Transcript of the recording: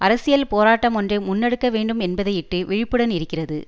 அரசியல் போராட்டமொன்றை முன்னெடுக்க வேண்டும் என்பதையிட்டு விழிப்புடன் இருக்கிறது